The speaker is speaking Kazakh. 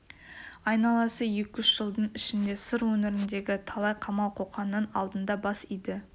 айналасы екі-үш жылдың ішінде сыр өңіріндегі талай қамал қоқанның алдында бас иді